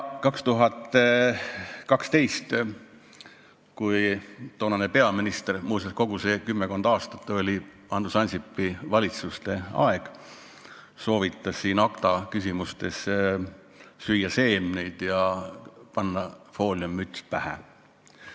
2012 soovitas toonane peaminister – muuseas, kogu see kümmekond aastat oli Andrus Ansipi valitsuste aeg – siin ACTA küsimustes süüa seemneid ja panna fooliummüts pähe.